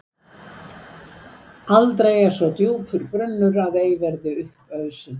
Aldrei er svo djúpur brunnur að ei verði upp ausinn.